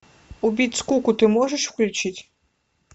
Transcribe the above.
убить скуку ты можешь включить